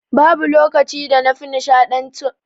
Babu lokacin da na fi nshaɗantuwa kamar lokacin ba da tasuniya